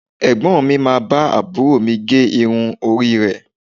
Ẹ̀gbọ́n mi máa bá àbúrò mi gé irun orí rẹ̀